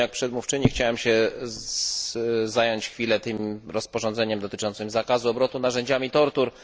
Podobnie jak przedmówczyni chciałem się zająć chwilę tym rozporządzeniem dotyczącym zakazu obrotu narzędziami tortur.